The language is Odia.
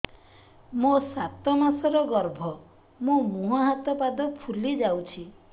ମୋ ସାତ ମାସର ଗର୍ଭ ମୋ ମୁହଁ ହାତ ପାଦ ଫୁଲି ଯାଉଛି